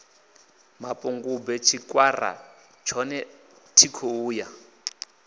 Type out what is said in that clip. mapungubwe tshikwara tshone thikho ya